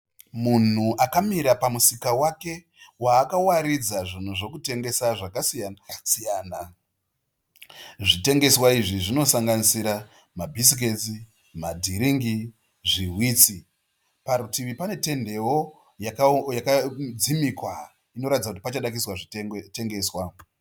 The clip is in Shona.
Munhu akamira pamusika wake waakawaridza zvinhu zvekutengesa zvakasiyana siyana. Zvitengeswa izvi zvinosanganisira mabhisiketsi, madhiringi zvihwitsi. Parutivi pane tendewo yakadzimikwa inoratidza kuti pachada kuiswa zvitengeswa.